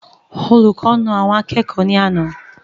Olùkọ naa àwọn akẹ́kọ̀ọ́ ní àná